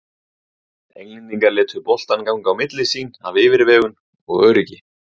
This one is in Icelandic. Englendingar létu boltann ganga á milli sín af yfirvegun og öryggi.